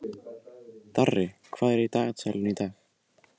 Darri, hvað er í dagatalinu í dag?